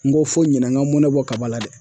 N ko fo ɲinɛ n ka n mɔnɛ bɔ kaba la dɛ